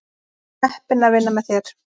Heppin að vinna með þér.